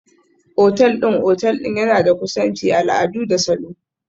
Otal ɗin otal ɗin yana da kusanci, al'adu da salo.